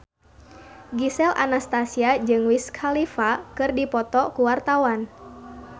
Gisel Anastasia jeung Wiz Khalifa keur dipoto ku wartawan